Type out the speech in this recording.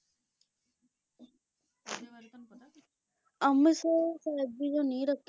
ਅੰਮ੍ਰਿਤਸਰ ਸਾਹਿਬ ਦੀ ਜੋ ਨੀਂਹ ਰੱਖੀ